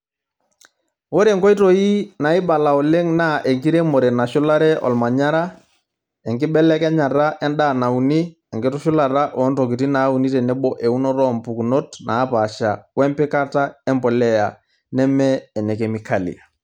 Ore nkoitoi naibala oleng' naa enkiremore nashulare olmanyara, enkibelekenyat endaa nauni, enkitushulata oo ntokitin naauni tenebo eunoto oo mpukunot naapasha wempikata embolea neme ene kemikali.